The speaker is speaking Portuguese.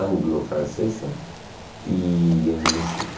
anglo-francesa e em no Chile.